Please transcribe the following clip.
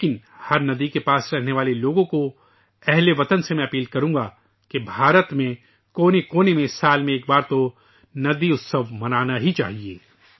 لیکن ہر ندی کے قریب رہنے والے لوگوں سے ، اہل وطن سے اپیل کروں گا کہ ہندوستان کےگوشے گوشے میں سال میں ایک بار تو ندی کا تہوار منانا ہی چاہیے